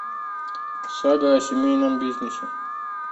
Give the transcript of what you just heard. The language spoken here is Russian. сага о семейном бизнесе